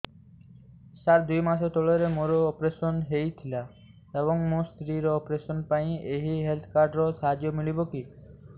ସାର ଦୁଇ ମାସ ତଳରେ ମୋର ଅପେରସନ ହୈ ଥିଲା ଏବେ ମୋ ସ୍ତ୍ରୀ ର ଅପେରସନ ପାଇଁ ଏହି ହେଲ୍ଥ କାର୍ଡ ର ସାହାଯ୍ୟ ମିଳିବ କି